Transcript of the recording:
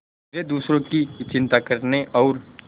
वे दूसरों की चिंता करने और